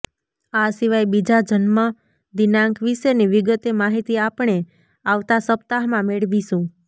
આ સિવાય બીજાં જન્મદિનાંક વિશેની વિગતે માહિતી આપણે આવતાં સપ્તાહમાં મેળવીશું